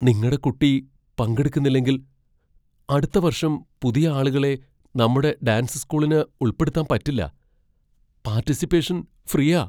നിങ്ങടെ കുട്ടി പങ്കെടുക്കുന്നില്ലെങ്കിൽ, അടുത്ത വർഷം പുതിയ ആളുകളെ നമ്മടെ ഡാൻസ് സ്കൂളിന് ഉൾപ്പെടുത്താൻ പറ്റില്ല. പാർട്ടിസിപ്പേഷൻ ഫ്രീയാ.